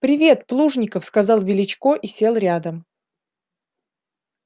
привет плужников сказал величко и сел рядом